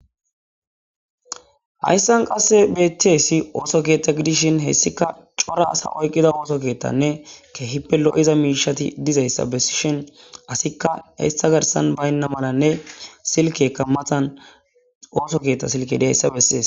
Hayssan qasse bettiyassi ooso keetta gidishin heyssikka cora asa oyqqida ooso keettanne keehippe lo'iza miishshati dizayssa besishin asikka hessa garssan baynna malanne silikeykka matan ooso keetta silikey de'iyayssa besses.